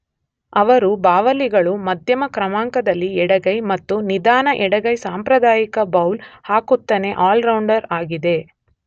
ಅವರು ಬಾವಲಿಗಳು ಮಧ್ಯಮ ಕ್ರಮಾಂಕದಲ್ಲಿ ಎಡಗೈ ಮತ್ತು ನಿಧಾನ ಎಡಗೈ ಸಾಂಪ್ರದಾಯಿಕ ಬೌಲ್ ಹಾಕುತ್ತಾನೆ ಆಲ್ರೌಂಡರ್ ಆಗಿದೆ.